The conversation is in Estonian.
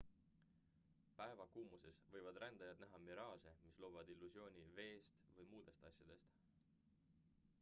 päevakuumuses võivad rändajad näha miraaže mis loovad illusiooni veest või muudest asjadest